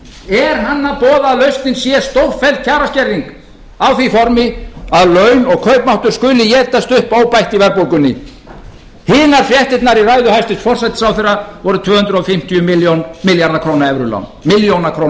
er hann að boða að lausnin sé stórfelld kjaraskerðing á því formi að laun og kaupmáttur skuli étast upp óbætt í verðbólgunni hinar fréttirnar í ræðu hæstvirts forsætisráðherra voru tvö hundruð fimmtíu milljónir króna